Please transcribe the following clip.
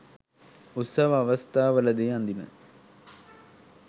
උත්සව අවස්ථාවලදී අඳින